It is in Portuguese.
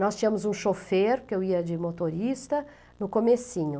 Nós tínhamos um chofer, que eu ia de motorista, no comecinho.